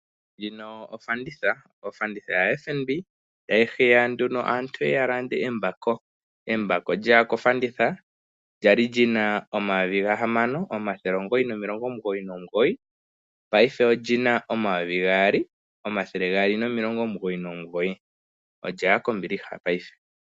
Ndjino ofanditha ofanditha ya FNB tayi hiya nduno aantu yeye yalande embako lyeya kofanditha lyali lina $6999 paife olina $6299 olyaya kombiliha paife